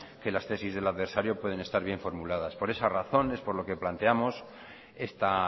que las tesis del adversario pueden estar bien formuladas por esa razón es por lo que planteamos esta